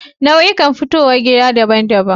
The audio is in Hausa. Nau'ukan fitowar gida daban-daban.